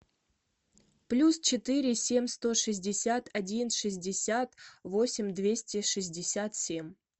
плюс четыре семь сто шестьдесят один шестьдесят восемь двести шестьдесят семь